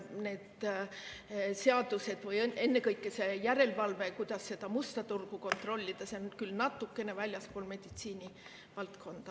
Need seadused või ennekõike järelevalve, kuidas seda musta turgu kontrollida, jäävad küll natukene väljapoole meditsiinivaldkonda.